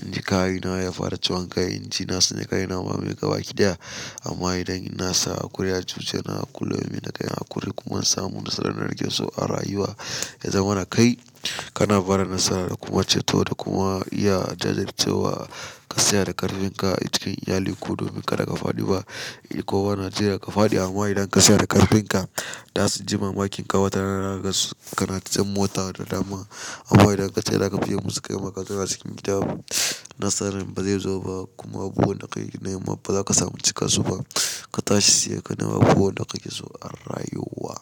inji kayina ya fara ciwon kai, inji na tsana kaina ma mai gabaki ɗaya. Amma idan na sa hakuri ya cuceni na kulome da kayi hakuri kuma na samu nasara na rage su a rayuwa ya zama na kai. Kana barin nasara da kuma ceto da kuma iya jajircewa ka saya da ƙarfin ka a cikin iyali ko domin ka daga faɗi ba. Kowa na jira ka faɗi amma idan ka saya da ƙarfin ka, za su ji mamakin watara zaka gan su. Kana tsint mota da dama amma idan ka ce za ka biye musu kai maka zauna cikin gida, nasarin ba zai zo ba kuma buhun da ka yi nema ba za ka samu cika su ba. Ka tashi sai ka nema abubuwan da kake so a rayuwa.